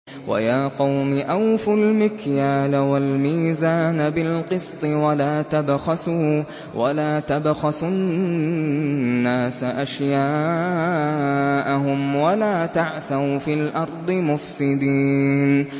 وَيَا قَوْمِ أَوْفُوا الْمِكْيَالَ وَالْمِيزَانَ بِالْقِسْطِ ۖ وَلَا تَبْخَسُوا النَّاسَ أَشْيَاءَهُمْ وَلَا تَعْثَوْا فِي الْأَرْضِ مُفْسِدِينَ